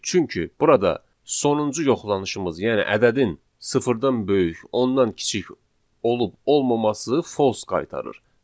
Çünki burada sonuncu yoxlanışımız, yəni ədədin sıfırdan böyük ondan kiçik olub olmaması false qaytarır.